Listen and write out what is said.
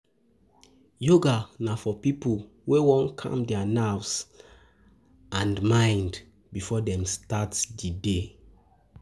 Yoga na for pipo wey won calm their nerves and um mind um before dem start di day um